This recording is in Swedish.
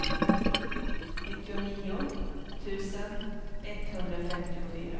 nittionio tusen etthundrafemtiofyra